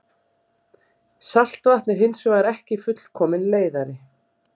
Saltvatn er hins vegar ekki fullkominn leiðari.